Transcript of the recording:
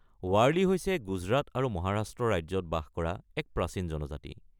ৱাৰ্লি হৈছে গুজৰাট আৰু মহাৰাষ্ট্ৰ ৰাজ্যত বাস কৰা এক প্ৰাচীন জনজাতি।